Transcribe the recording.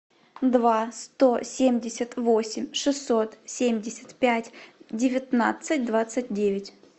два сто семьдесят восемь шестьсот семьдесят пять девятнадцать двадцать девять